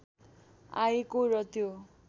आएको र त्यो